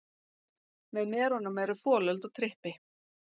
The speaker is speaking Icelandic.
Með merunum eru folöld og trippi.